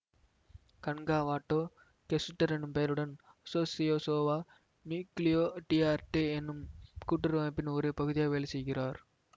கன்காவாட்டோ கெசுட்டர் என்னும் பெயருடன் அசோசியாசாவோ நியூக்கிளியோ டி ஆர்ட்டே என்னும் கூட்டுறவு அமைப்பின் ஒரு பகுதியாக வேலை செய்கிறார்